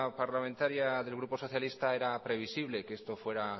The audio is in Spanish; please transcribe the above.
parlamentaria del grupo socialista era previsible que esto fuera